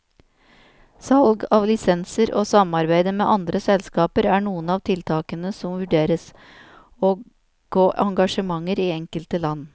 Salg av lisenser og samarbeide med andre selskaper er noen av tiltakene som vurderes, og gå engasjementer i enkelte land.